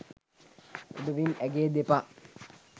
එබැවින් ඇගේ දෙපා